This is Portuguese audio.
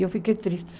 E eu fiquei triste